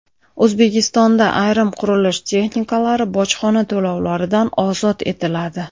O‘zbekistonda ayrim qurilish texnikalari bojxona to‘lovlaridan ozod etiladi.